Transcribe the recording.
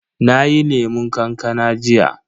Nayi lemun kankana jiya.